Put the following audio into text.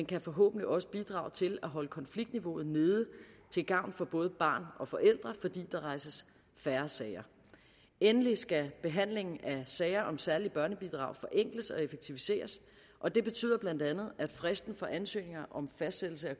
kan forhåbentlig også bidrage til at holde konfliktniveauet nede til gavn for både barn og forældre fordi der rejses færre sager endelig skal behandlingen af sager om særlige børnebidrag forenkles og effektiviseres og det betyder bla at fristen for ansøgninger om fastsættelse af